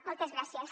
moltes gràcies